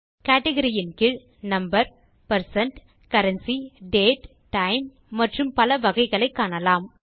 category இன் கீழ் number percent currency date time மற்றும் பல வகைகளை காணலாம்